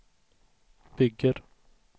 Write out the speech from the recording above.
bygger